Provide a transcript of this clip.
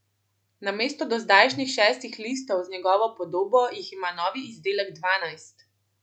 Namesto dozdajšnjih šestih listov z njegovo podobo jih ima novi izdelek dvanajst.